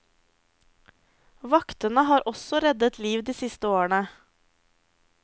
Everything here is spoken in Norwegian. Vaktene har også reddet liv de siste årene.